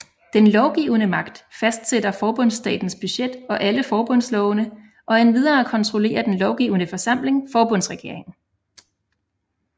Den lovgivende magt fastsætter forbundsstatens budget og alle forbundslovene og endvidere kontrollerer den lovgivende forsamling forbundsregeringen